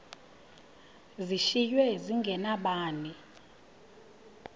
zishiywe zinge nabani